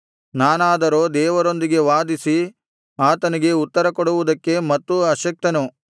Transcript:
ನಾನಾದರೋ ದೇವರೊಂದಿಗೆ ವಾದಿಸಿ ಆತನಿಗೆ ಉತ್ತರಕೊಡುವುದಕ್ಕೆ ಮತ್ತೂ ಅಶಕ್ತನು